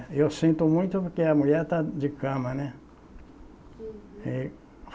Eu sinto muito porque a mulher está de cama, né? Uhum